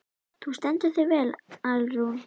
Þú stendur þig vel, Alrún!